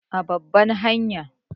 A babbar hanya